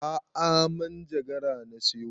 A'a manjagara na siyo